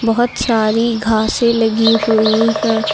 बहुत सारी घासें से लगी हुई हैं।